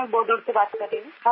मैं बोडल से बात कर रही हूँ